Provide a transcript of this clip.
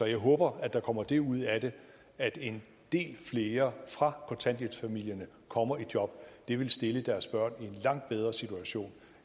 jeg håber at der kommer det ud af det at en del flere fra kontanthjælpsfamilierne kommer i job det vil stille deres børn i en langt bedre situation